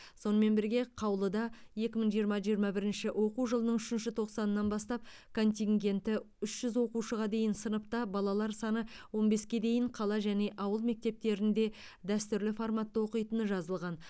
сонымен бірге қаулыда екі мың жиырма жиырма бірінші оқу жылының үшінші тоқсанынан бастап контингенті үш жүз оқушыға дейін сыныпта балалар саны он беске дейін қала және ауыл мектептерінде дәстүрлі форматта оқитыны жазылған